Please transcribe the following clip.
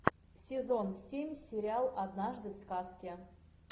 сезон семь сериал однажды в сказке